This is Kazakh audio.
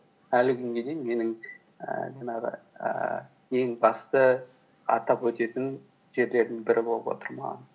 әлі күнге дейін менің ііі жаңағы ііі ең басты атап өтетін жерлердің бірі болып отыр маған